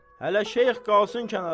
Hələ Şeyx qalsın kənara.